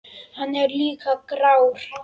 Hann er líka grár.